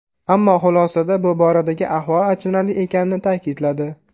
Ammo xulosada bu boradagi ahvol achinarli ekanini ta’kidladi.